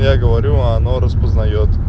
я говорю а оно распознает